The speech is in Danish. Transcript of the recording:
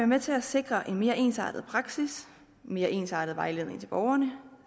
med til at sikre en mere ensartet praksis en mere ensartet vejledning til borgerne